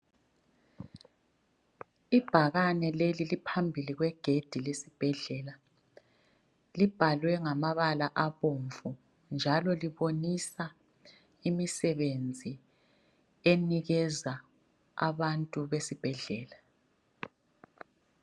Ibhakane leli liphambi kwegedi lesibhedlela. Iibhalwe ngamabala abomvu, njalo libonisa imisebenzi enikeza abantu besibhedlela.